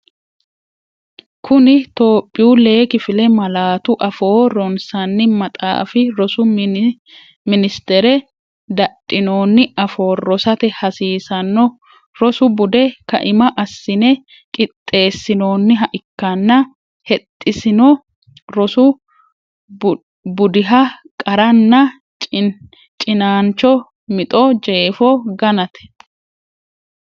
Kuni Tophiyu lee kifile malaatu afoo ronsanni maxaafi Rosu Minis- tere dadhinoonni afoo rosate hasiisanno rosu bude kaima assine qixx- eessinoonniha ikkanna hexxsino rosu budiha qaranna cinaancho mixo jeefo ganate.